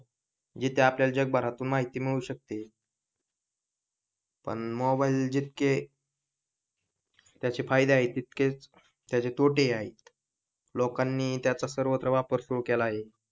इथे आपल्या जग भरातून माहिती मिळवू शकते पण मोबाइल जितके त्याचे फायदे आहेत तितकेच तोटे हि आहेत लोकांनाही त्याचा सर्वत्र वापर सुरु केला आहे.